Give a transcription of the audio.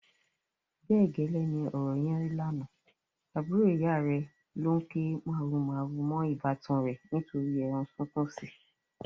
Bẹ́ẹ̀ gẹ́lẹ́ ni ọ̀rọ̀ yẹn rí lánàá, àbúrò ìyá rẹ̀ ló ń ké màhurumàhuru mọ́ ìbátan rẹ̀ nítorí ẹran sunkúnsí.